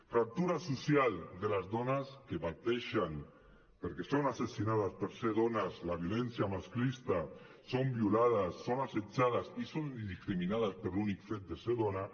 fractura social de les dones que pateixen perquè són assassinades per ser dones la violència masclista són violades són assetjades i són discriminades per l’únic fet de ser dones